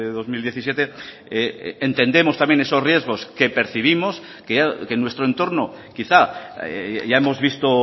dos mil diecisiete entendemos también esos riesgos que percibimos que nuestro entorno quizá ya hemos visto